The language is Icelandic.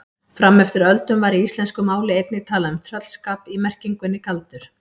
Fram eftir öldum var í íslensku máli einnig talað um tröllskap í merkingunni galdur.